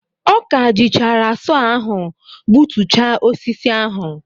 Ọ ka jichara sọ ahụ gbutucha osisi ahụ.